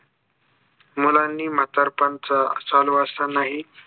मुलांनी म्हतारपण साठंवार्षि ही